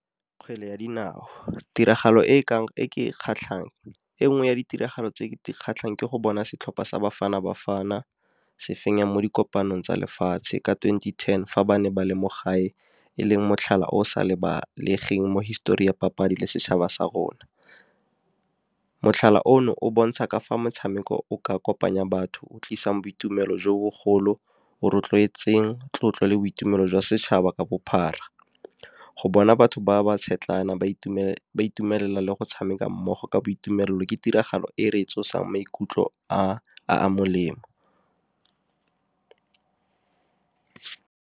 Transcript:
Kgwele ya dinao, tiragalo e ke e kgatlhang e nngwe ya ditiragalo tse di kgatlhang ke go bona setlhopha sa Bafana Bafana se fenya mo dikopano tsa lefatshe ka twenty-ten, fa ba ne ba le mo gae e leng motlhala o o sa lebalegeng mo histori ya papadi le setšhaba sa rona. Motlhala ono o bontsha ka fa motshameko o ka kopanya batho, o tlisang boitumelo jo bogolo, go rotloetseng tlotlo le boitumelo jwa setšhaba ka bophara. Go bona batho ba ba tshetlana ba itumelela le go tshameka mmogo ka boitumelo ke tiragalo e re tsosang maikutlo a a molemo.